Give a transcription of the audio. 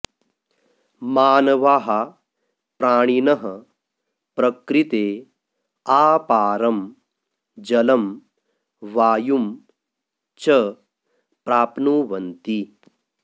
मानवाः प्राणिनः प्रकृते आपारं जलं वायुं च प्राप्नुवन्ति